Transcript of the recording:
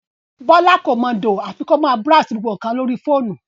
Bọ́lá kò mọ dòò àfi kó máa búráósì gbogbo nǹkan lórí fóònù